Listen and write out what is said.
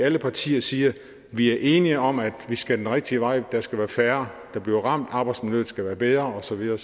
alle partier siger vi er enige om at vi skal den rigtige vej der skal være færre der bliver ramt arbejsmiljøet skal være bedre og så videre